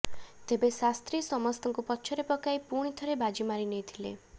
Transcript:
ତେବେ ଶାସ୍ତ୍ରୀ ସମସ୍ତଙ୍କୁ ପଛରେ ପକାଇ ପୁଣି ଥରେ ବାଜି ମାରିନେଇଥିଲେ